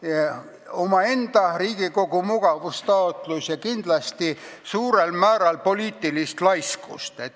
Selle taga on ka Riigikogu mugavustaotlus ja kindlasti suurel määral poliitilist laiskust.